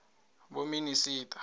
vhominista